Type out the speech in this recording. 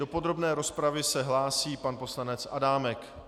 Do podrobné rozpravy se hlásí pan poslanec Adámek.